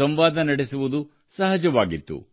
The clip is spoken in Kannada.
ಸಂವಾದ ನಡೆಸುವುದು ಸಹಜವಾಗಿತ್ತು